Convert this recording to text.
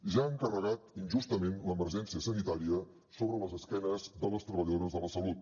ja han carregat injustament l’emergència sanitària sobre les esquenes de les treballadores de la salut